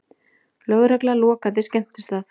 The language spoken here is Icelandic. Lögregla lokaði skemmtistað